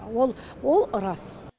ол ол рас